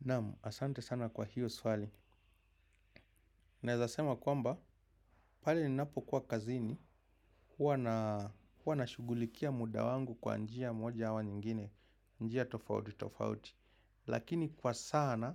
Namu, asante sana kwa hilo swali. Naezasema kwamba, pale ni napo kuwa kazini, huwa nashugulikia muda wangu kwa njia moja ama nyingine, njia tofauti tofauti. Lakini kwa sana,